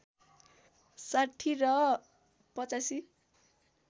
६० र ८५